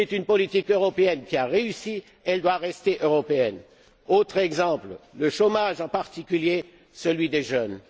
C'est une politique européenne qui a réussi, elle doit rester européenne! Autre exemple le chômage, en particulier celui des jeunes.